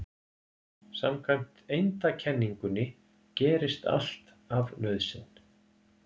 Samkvæmt eindakenningunni gerist allt af nauðsyn.